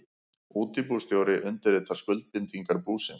Útibússtjóri undirritar skuldbindingar búsins.